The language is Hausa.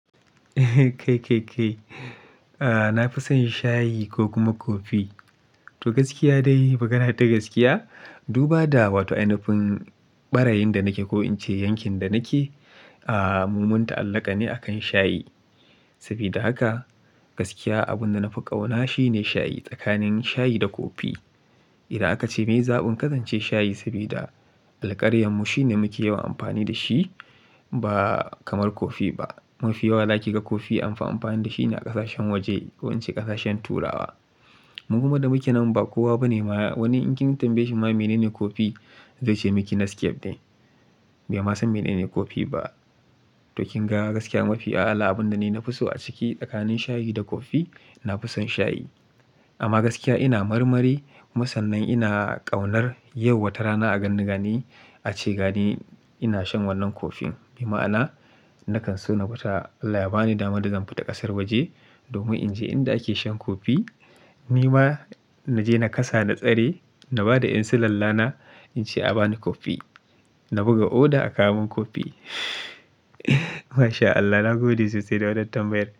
Na fi son shayi ko kuma coffee to gaskiya dai, magana ta gaskiya, duba da wato ainafin ɓarayin da nake ko in ce yankin da nake, a mu mun ta'allaƙa ne akan shayi. Sabida haka gaskiya abunda na fi ƙauna shine shayi tsakanin shayi da coffee. Idan aka ce miye zaɓin ka zance shayi sabida alƙaryarmu shine muke yawan amfani da shi ba kamar coffee ba. Mafi yawa zaki ga coffee amfi amfani da shi ne a ƙasashen waje ko in ce ƙasashen turawa. Mu da muke nan ba kowa bane ma wani in kin tambaye shi ma menene coffee zai ce miki necafe ne. Bai ma san menene kofi ba. To kin ga gaskiya mafi a'ala abunda ni na fi so a ciki tsakanin shayi da coffee, na fi son shayi. Amma gaskiya ina marmari kuma sannan ina ƙaunar yau wata rana a ganni gani a ce gani ina shan wannan coffeen. Mai ma'ana nakan so na fita Allah ya bani damar da zan fita ƙasar waje domin in je inda ake shan coffee. Ni ma naje na kasa na tsare na bada 'yan silalla na in ce a bani coffee. Na buga order a kawo mun coffee. Masha Allah na gode sosai da wannan tambayar.